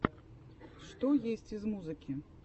что есть из музыки